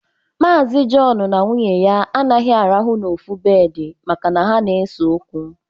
Maazi Jọn na nwunye ya anaghị arahụ n'ofu bedị maka na ha na-ese okwu